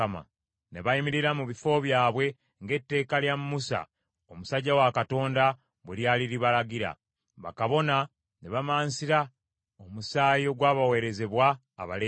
Ne bayimirira mu bifo byabwe ng’etteeka lya Musa omusajja wa Katonda bwe lyali libalagira. Bakabona ne bamansira omusaayi ogwabaweerezebwa Abaleevi.